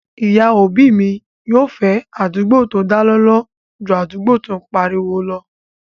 Ìyá òbí mi yóò fẹ́ àdúgbò tó dá lọ́lọ́ ju àdúgbò tó n pariwo lọ